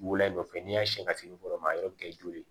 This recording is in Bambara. Wula nɔfɛ n'i y'a siɲɛ ka sini dɔrɔn ma a yɛrɛ bɛ kɛ joli ye